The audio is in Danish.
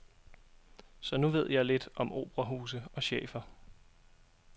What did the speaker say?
Så nu ved jeg lidt om operahuse og chefer.